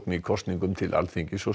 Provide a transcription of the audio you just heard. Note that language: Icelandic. í kosningum til Alþingis og